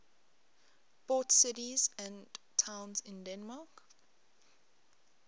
port cities and towns in denmark